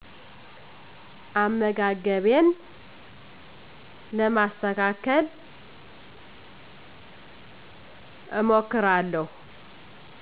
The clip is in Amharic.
አመጋገቤን ለማስተካከል እሞክራለሁ